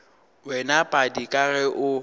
wena padi ka ge o